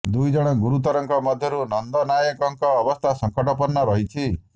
ଦୁଇ ଜଣ ଗୁରୁତରଙ୍କ ମଧ୍ୟରୁ ନନ୍ଦ ନାଏକଙ୍କ ଅବସ୍ଥା ସଙ୍କଟାପନ୍ନ ରହିଛି